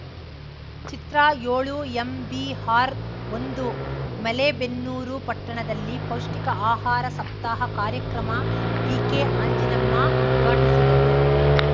ಚಿತ್ರಯೋಳುಎಂಬಿಆರ್‌ಒಂದು ಮಲೇಬೆನ್ನೂರು ಪಟ್ಟಣದಲ್ಲಿ ಪೌಷ್ಟಿಕ ಆಹಾರ ಸಪ್ತಾಹ ಕಾರ್ಯಕ್ರಮ ಡಿಕೆಅಂಜಿನಮ್ಮ ಉದ್ಘಾಟಿಸಿದರು